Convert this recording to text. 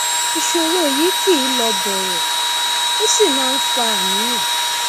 ìṣòro yìí kì í lọ bọrọ ó sì máa ń fa àníyàn